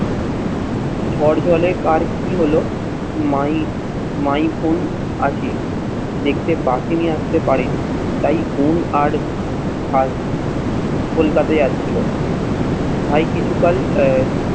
ঝড় জলে কার কি হলো মাই, মাই বোন আছে। দেখতে বাটি নিয়ে আসতে পারিনি তাই বোন আর ভাত কলকাতা যাচ্ছিল। ভাই কিছুকাল আহ